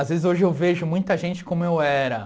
Às vezes hoje eu vejo muita gente como eu era.